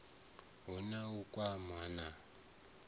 hu na u kwamana na